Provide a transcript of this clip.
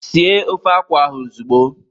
Sie ofe akwụ ahụ ozugbo!